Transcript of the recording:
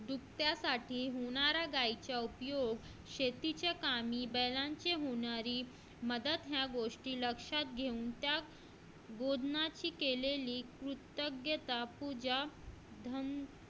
धन दूभत्यासाठी होणाऱ्या गायचा उपयोग शेतीच्या कामे बैलांच्या बैलांची होणारे मदत या गोष्टी लक्षात घेऊन त्या गोंदनाची केलेली कृतज्ञता पूजा